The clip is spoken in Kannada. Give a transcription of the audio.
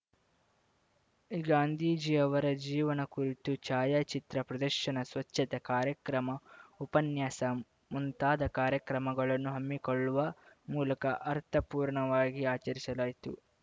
ಗಾಂಧಿಜೀಯವರ ಜೀವನ ಕುರಿತು ಛಾಯಾಚಿತ್ರ ಪ್ರದರ್ಶನ ಸ್ವಚ್ಛತಾ ಕಾರ್ಯಕ್ರಮ ಉಪನ್ಯಾಸ ಮುಂತಾದ ಕಾರ್ಯಕ್ರಮಗಳನ್ನು ಹಮ್ಮಿಕೊಳ್ಳುವ ಮೂಲಕ ಅರ್ಥ ಪೂರ್ಣವಾಗಿ ಆಚರಿಸಲಾಯಿತು